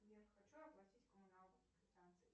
сбер хочу оплатить коммуналку по квитанции